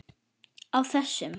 Á þessum